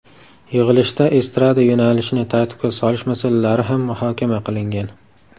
Yig‘ilishda estrada yo‘nalishini tartibga solish masalalari ham muhokama qilingan.